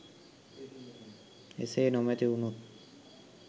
එසේ නොමැති උනොත්